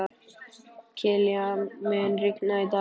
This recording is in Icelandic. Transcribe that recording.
Kilían, mun rigna í dag?